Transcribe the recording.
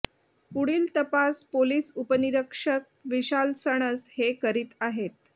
पुढील तपास पोलिस उपनिरीक्षक विशाल सणस हे करीत आहेत